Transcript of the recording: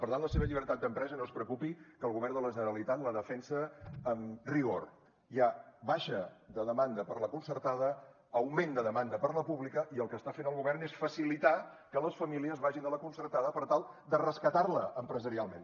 per tant la seva llibertat d’empresa no es preocupi que el govern de la generalitat la defensa amb rigor hi ha baixa de demanda per la concertada augment de demanda per la pública i el que està fent el govern és facilitar que les famílies vagin a la concertada per tal de rescatarla empresarialment